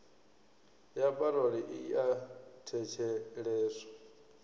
ya parole i a thetsheleswa